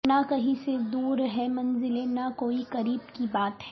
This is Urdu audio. نہ کہیں سے دور ہیں منزلیں نہ کوئی قریب کی بات ہے